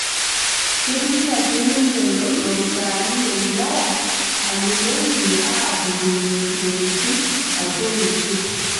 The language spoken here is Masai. Keitumia sii ninche loopisaani le wilaya ambulensi aapurrunye ntokitin atua olosho